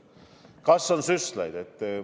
Kas on süstlaid?